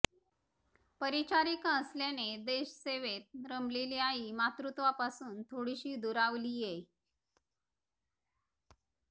परिचारीका असल्याने देश सेवेत रमलेली आई मातृत्वापासुन थोडीशी दूरावलीये